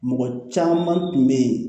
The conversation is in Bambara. Mɔgɔ caman tun bɛ yen